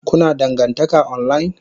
Kuna dangantaka online?